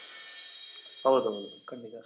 ಹೌದ್ ಹೌದು ಖಂಡಿತ